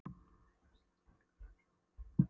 Skemmtuninni var síðan slitið klukkan þrjú.